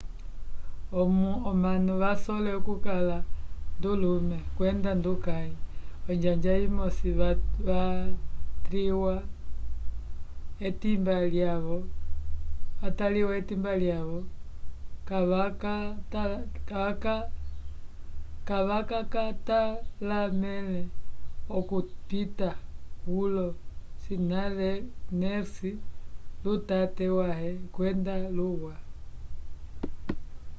omanu vasole okukala ndulume kwenda ndukãyi onjanja imosi vatliwa etimba lyavo kavakatalamele okupita kwolo scanners lutate wãhe kwenda luwa